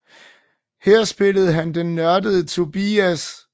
Her spillede han den nørdede Tobias